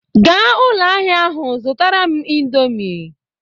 Gaa ụlọ ahịa ahụ zụtara m indomi